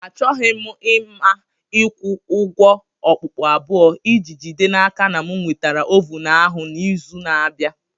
Achọghị m ịma ịkwụ ụgwọ okpukpu abụọ iji jide n'aka na m nwetara ovun ahụ n'izu na-abịa.